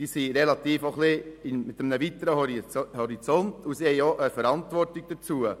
Sie verfügen über einen weiteren Horizont und tragen die entsprechende Verantwortung.